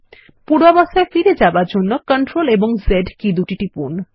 পূর্বাবস্থার ফিরে যাবার জন্য Ctrl Z কি দুটি টিপুন